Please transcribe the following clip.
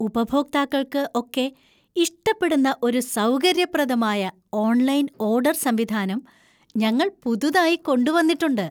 ഉപഭോക്താക്കൾക്ക് ഒക്കെ ഇഷ്ടപ്പെടുന്ന ഒരു സൗകര്യപ്രദമായ ഓൺലൈൻ ഓഡർ സംവിധാനം ഞങ്ങൾ പുതുതായി കൊണ്ടു വന്നിട്ടുണ്ട്.